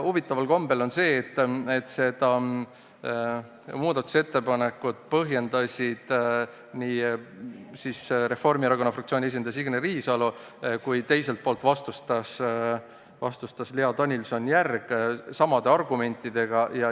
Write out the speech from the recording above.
Huvitaval kombel olid seda muudatusettepanekut põhjendanud Reformierakonna fraktsiooni esindaja Signe Riisalo ja sellele vastu olnud Lea Danilson-Järgi argumendid samad.